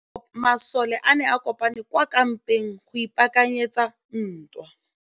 Masole a ne a kopane kwa kampeng go ipaakanyetsa ntwa.